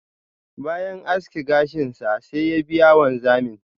bayan aski gashin sa, sai ya biya wanzamin.